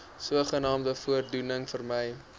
sogenaamde voordoening vermy